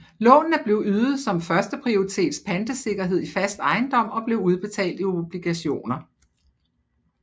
Lånene blev ydet som førsteprioritets pantesikkerhed i fast ejendom og blev udbetalt i obligationer